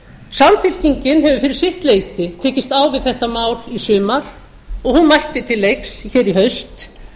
samfylkingin hefur fyrir sitt leyti tekist á við þetta mál í sumar og hún mætti til leiks í haust